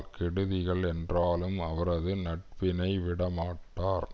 கெடுதிகள் என்றாலும் அவரது நட்பினை விடமாட்டார்